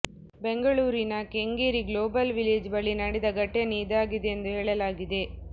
ಬೆಂಗಳೂರಿನ Kengeri global village ಬಳಿ ನಡೆದ ಘಟನೆ ಇದಾಗಿದೆ ಎಂದು ಹೇಳಲಾಗಿದೆ